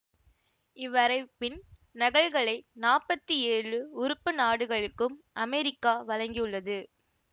இவ்வரைபின் நகல்களை நாற்பத்தி ஏழு உறுப்பு நாடுகளுக்கும் அமெரிக்கா வழங்கியுள்ளது